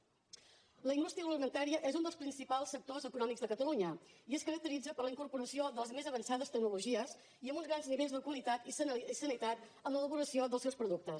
la indústria agroalimentària és un dels principals sectors econòmics de catalunya i es caracteritza per la incorporació de les més avançades tecnologies i amb uns grans nivells de qualitat i sanitat en l’elaboració dels seus productes